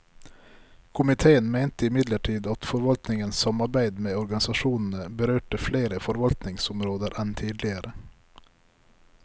Komiteen mente imidlertid at forvaltningens samarbeid med organisasjonene berørte flere forvaltningsområder enn tidligere.